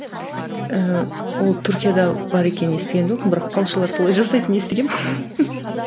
ііі ол түркияда бар екенін естіген жоқпын бірақ балшылар солай жасайтынын естігенмін